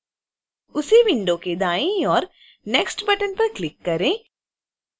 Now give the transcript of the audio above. उसी विंडो के दाईं ओर next बटन पर क्लिक करें